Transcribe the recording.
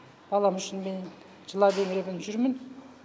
балам үшін мен жылап еңіреп енді жүрмін